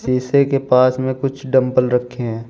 शीशे के पास में कुछ डम्बल रखें हैं।